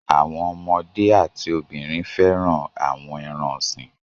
Àwọn ọmọdé a ti obìnrin fẹ́ràn àwọn ẹran-ọ̀sìn.